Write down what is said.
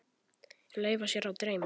Leyfa sér að dreyma.